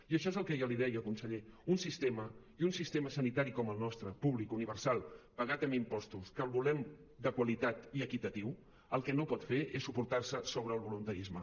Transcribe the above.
i això és el que jo li deia conseller un sistema i un sistema sanitari com el nostre públic universal pagat amb impostos que el volem de qualitat i equitatiu el que no pot fer és suportar se sobre el voluntarisme